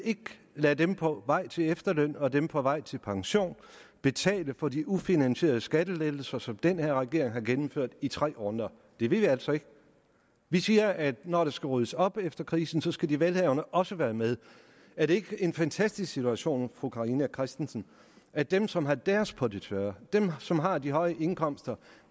lade dem på vej til efterløn og dem på vej til pension betale for de ufinansierede skattelettelser som den her regering har gennemført i tre runder det vil vi altså ikke vi siger at når der skal ryddes op efter krisen skal de velhavende også være med er det ikke en fantastisk situation fru carina christensen at dem som har deres på det tørre dem som har de høje indkomster